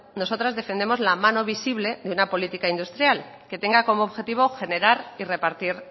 nosotras defendemos la mano visible de una política industrial que tenga como objetivo generar y repartir